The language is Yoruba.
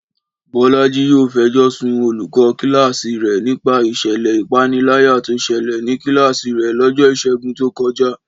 Bọ́lájí yóò fẹjọ sun olùkọ́ kíláàsì rẹ̀ nípa ìṣẹ̀lẹ̀ ìpániláyà tó ṣẹlẹ̀ ní kíláàsì rẹ̀ lọ́jọ́ Ìṣẹ́gun tó kọjá